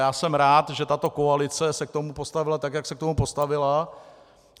Já jsem rád, že tato koalice se k tomu postavila tak, jak se k tomu postavila.